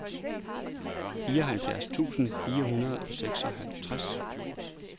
fireoghalvfjerds tusind fire hundrede og seksoghalvtreds